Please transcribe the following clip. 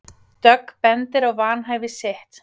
Dögg bendir á vanhæfi sitt